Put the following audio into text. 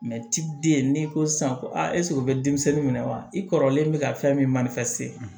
ti den n'i ko sisan ko ɛseke o bɛ denmisɛnnin minɛ wa i kɔrɔlen bɛ ka fɛn min